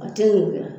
A tɛ wuguya